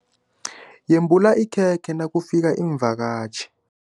Yembula ikhekhe nakufika iimvakatjhi.